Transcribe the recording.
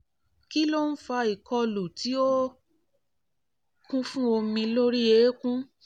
kí ló ń fa ìkọlù tí ó kún fún omi lórí eékún?